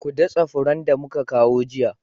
Ku datse furen da muka kawo jiya